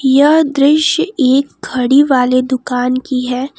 यह दृश्य एक घड़ी वाले दुकान की है।